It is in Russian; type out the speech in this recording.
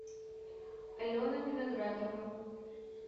алена виноградова